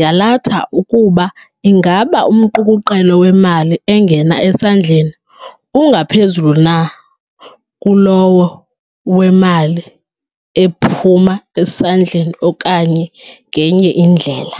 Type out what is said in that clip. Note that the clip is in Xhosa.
yalatha ukuba ingaba umqukuqelo wemali engena esandleni ungaphezulu na kulowo wemali ephuma esandleni okanye ngenye indlela.